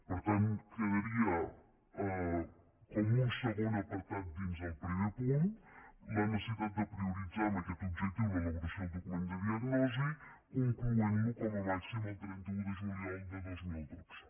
per tant quedaria com un segon apartat dins del primer punt la necessitat de prioritzar en aquest objectiu l’elaboració del document de diagnosi concloent lo com a màxim el trenta un de juliol de dos mil dotze